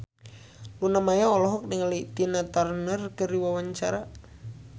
Luna Maya olohok ningali Tina Turner keur diwawancara